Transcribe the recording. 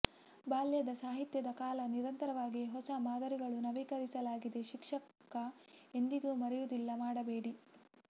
ಬಾಲ್ಯದ ಸಾಹಿತ್ಯದ ಕಾಲ ನಿರಂತರವಾಗಿ ಹೊಸ ಮಾದರಿಗಳು ನವೀಕರಿಸಲಾಗಿದೆ ಶಿಕ್ಷಕ ಎಂದಿಗೂ ಮರೆಯುವುದಿಲ್ಲ ಮಾಡಬೇಕು